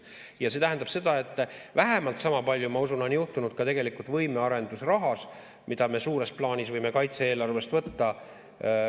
Ja see tähendab seda, et vähemalt sama palju, ma usun, on juhtunud ka tegelikult võimearendusrahas, mida me suures plaanis võime kaitse-eelarvest võtta.